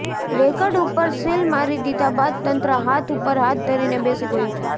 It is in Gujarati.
રેકર્ડ ઉપર સીલ મારી દીધા બાદ તંત્ર હાથ ઉપર હાથ ધરીને બેસી ગયું છે